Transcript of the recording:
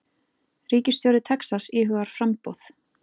Ríkisstjóri Texas íhugar framboð